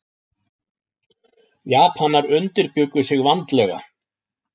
Japanar undirbjuggu sig vandlega.